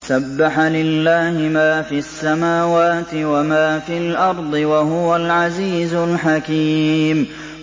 سَبَّحَ لِلَّهِ مَا فِي السَّمَاوَاتِ وَمَا فِي الْأَرْضِ ۖ وَهُوَ الْعَزِيزُ الْحَكِيمُ